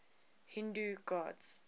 hindu gods